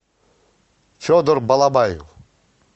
федор балабаев